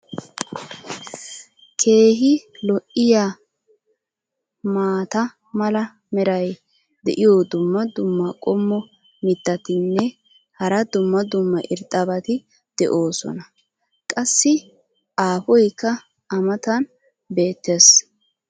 keehi lo'iya maata mala meray diyo dumma dumma qommo mitattinne hara dumma dumma irxxabati de'oosona. qassi aafoykka a matan beetees.